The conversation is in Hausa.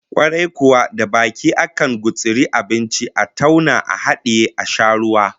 Kwarai kuwa, da baki ne akan gutsuri abinci, a tauna a hadiye, a sha ruwa